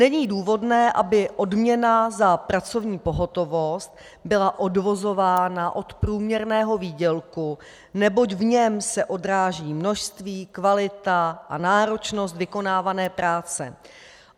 Není důvodné, aby odměna za pracovní pohotovost byla odvozována od průměrného výdělku, neboť v něm se odráží množství, kvalita a náročnost vykonávané práce.